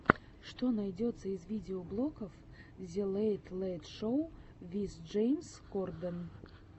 что найдется из видеоблогов зе лэйт лэйт шоу виз джеймс корден